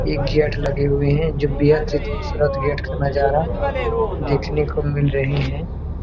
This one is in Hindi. एक गेट लगे हुए है जो बेहद ही खुबसूरत गेट का नज़ारा देखने को मिल रहे है।